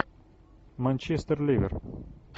манчестер ливер